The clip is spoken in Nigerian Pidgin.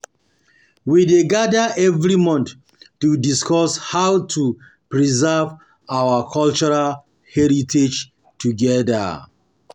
We dey gather every month to discuss how to preserve our cultural heritage together.